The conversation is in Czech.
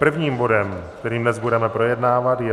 Prvním bodem, který dnes budeme projednávat, je